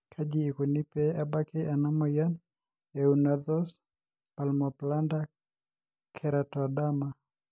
kaji ikoni pee ebaki ena moyian e Unna Thost palmoplantar keratoderma?